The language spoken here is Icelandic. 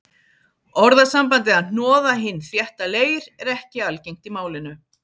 Orðasambandið að hnoða hinn þétta leir er ekki algengt í málinu.